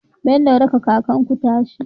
Bello raka kakar ku tasha